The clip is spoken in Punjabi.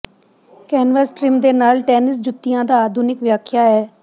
ਕੈਨਵਸ ਟ੍ਰਿਮ ਦੇ ਨਾਲ ਟੈਨਿਸ ਜੁੱਤੀਆਂ ਦਾ ਆਧੁਨਿਕ ਵਿਆਖਿਆ ਹੈ